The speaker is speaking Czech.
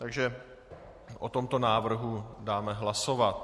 Takže o tomto návrhu dáme hlasovat.